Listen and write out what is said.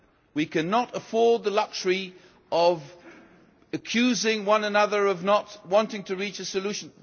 We cannot afford the luxury of accusing one another of not wanting to reach a solution.